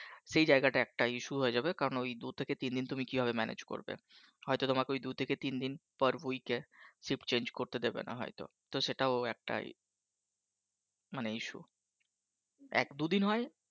সেই জায়গাটা একটা Issue হয়ে যাবে কারণ ওই দুই থেকে তিন দিন তুমি কিভাবে Manage করবে হয়তো তোমাকে ওই দু থেকে তিন দিন Per Week Shift Change করতে দেবে না হয়তো তো সেটাও একটা মানে Issue এক দুদিন হয়